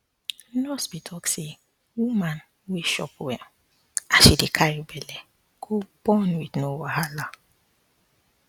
nurse be talk say woman wey um chop well as she um dey carry um belle go born with no wahala